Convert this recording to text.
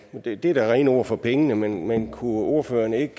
er da rene ord for pengene men kunne ordføreren ikke